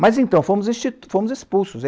Mas, então, fomos expulsos.